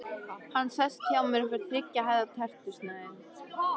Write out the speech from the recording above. Hann sest hjá mér og fær þriggja hæða tertusneið.